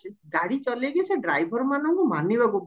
ଗାଡି ଚଲେଇକି ସେ driver ମାନଙ୍କୁ ମାନିବାକୁ